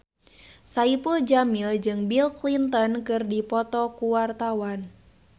Saipul Jamil jeung Bill Clinton keur dipoto ku wartawan